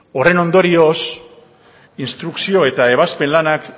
horren ondorioz instrukzio eta ebazpen lanak